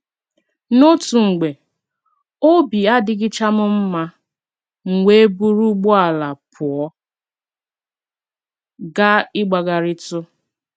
N’otu mgbe, obi adịchaghị m mma, m wee buru ụgbọala pụọ gaa ịgbagharịtụ.